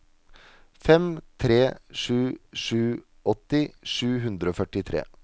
fem tre sju sju åtti sju hundre og førtitre